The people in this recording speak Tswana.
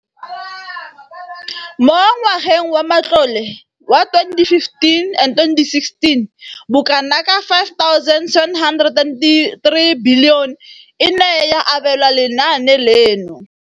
Mo ngwageng wa matlole wa 2015,16, bokanaka R5 703 bilione e ne ya abelwa lenaane leno.